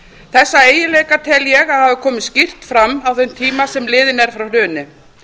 þessa eiginleika tel ég hafa komið skýrt fram á þeim tíma sem liðinn er frá hruni